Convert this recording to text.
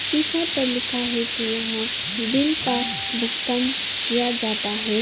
शीशा पर लिखा है कि यहां बिल का भुगतान किया जाता है।